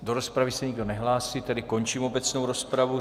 Do rozpravy se nikdo nehlásí, tedy končím obecnou rozpravu.